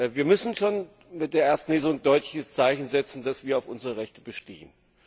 Wir müssen schon mit der ersten Lesung ein deutliches Zeichen setzen, dass wir auf unsere Rechte bestehen.